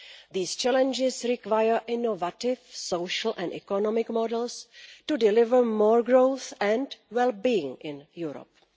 These challenges require innovative social and economic models to deliver more growth and well-being in Europe.